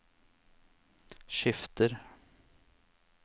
skifter